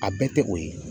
A bɛɛ tɛ o ye